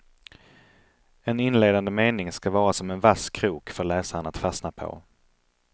En inledande mening ska vara som en vass krok för läsaren att fastna på.